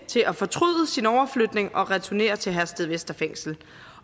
til at fortryde sin overflytning og returnere til herstedvester fængsel